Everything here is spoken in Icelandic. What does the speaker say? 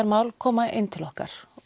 mál koma inn til okkar